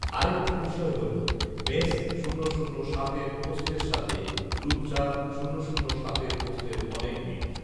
আরেকটি বিষয় হল মেস শূন্য শূন্য সাতের পোস্টের সাথে রূপসা শূন্য শূন্য সাতের পোস্টের অনেক মিল